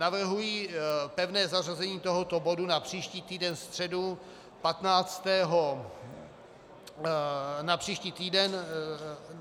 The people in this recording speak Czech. Navrhuji pevné zařazení tohoto bodu na příští týden středu 15. března odpoledne po pevně zařazených bodech.